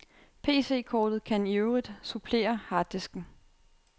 PCkortet kan i øvrigt supplere harddisken.